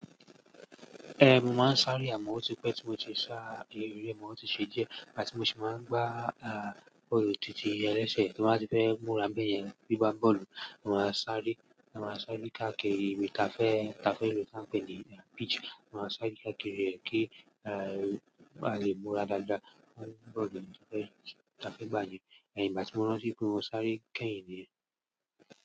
Ehn, mo máa ń sáré àmọ́ ó ti pẹ́ tí mo ti sá ere mo, ó ti ṣe díẹ̀, igba tí mo sì máa ń gbá bọ́ọ̀lù tìtì ẹlẹ́sẹ̀. Mo máa ń fẹ́ múra béèyẹn bí gbá bọ́ọ̀lù. Mo máa ń sáré, mo máa ń sáré ká kiri mi táfẹ́ táfẹ́ irú tí wọ́n ń pè ní pitch. Mo máa ń sáré ká kiri ẹ̀ kí a lè múra dáadáa, máa gbá bọ́ọ̀lù táfẹ́ táfẹ́ gbá yẹn. Èyí ni ìgbà tí mo ránti pe mo sáré kẹ́yìn ni.